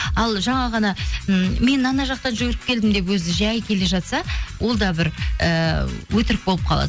ал жаңа ғана м мен ана жақта жүріп келдім деп өзі жай келе жатса ол да бір ііі өтірік болып қалады